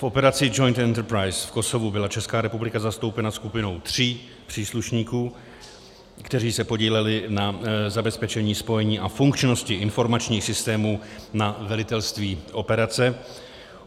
V operaci Joint Enterprise v Kosovu byla Česká republika zastoupena skupinou tří příslušníků, kteří se podíleli na zabezpečení spojení a funkčnosti informačních systémů na velitelství operace.